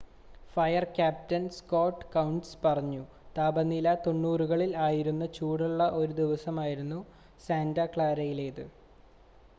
"Fire captain Scott Kouns പറഞ്ഞു "താപനില 90കളിൽ ആയിരുന്ന ചൂടുള്ള ഒരു ദിവസമായിരുന്നു സാന്റ ക്ലാരയിലേതെന്ന്.